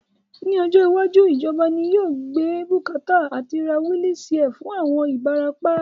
Ní ọjọ́ iwájú, ìjọba ni yóò gbé bùkátà àti ra wílí síà fún àwọn Ibarapa